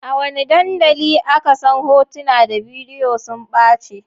A wane dandali aka san hotuna da bidiyo sun ɓace?